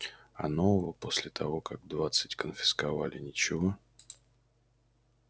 а нового после того как двадцать конфисковали ничего